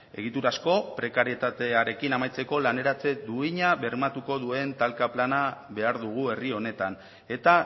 egiturazko prekarietatearekin amaitzeko laneratze duina bermatuko duen talka plana behar dugu herri honetan eta